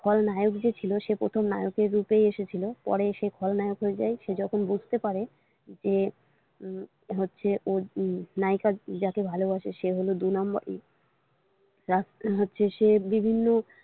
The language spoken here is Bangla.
খলনায়ক যে ছিল সে প্রথম নায়কের রূপেই এসেছিল পরে সে খলনায়ক হয়ে যায় সে যখন বুঝতে পারে যে হচ্ছে ওর নায়িকার যাকে ভালোবাসে সে হলো দুই number ই সে বিভিন্ন।